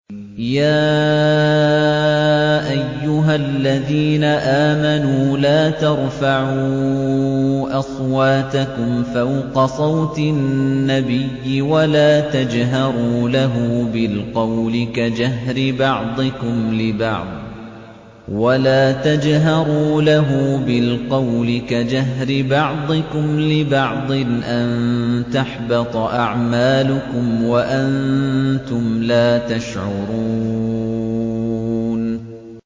يَا أَيُّهَا الَّذِينَ آمَنُوا لَا تَرْفَعُوا أَصْوَاتَكُمْ فَوْقَ صَوْتِ النَّبِيِّ وَلَا تَجْهَرُوا لَهُ بِالْقَوْلِ كَجَهْرِ بَعْضِكُمْ لِبَعْضٍ أَن تَحْبَطَ أَعْمَالُكُمْ وَأَنتُمْ لَا تَشْعُرُونَ